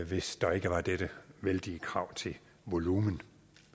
hvis der ikke var dette vældige krav til volumen